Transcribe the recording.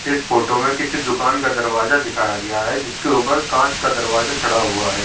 तथा इस फोटो में किसी दुकान का दरवाजा दिखाया गया है। जिसके ऊपर कांच का दरवाजा चढ़ा हुआ है।